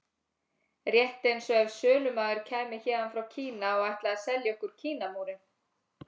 Rétt eins og ef sölumaður kæmi héðan frá Kína og ætlaði að selja okkur Kínamúrinn.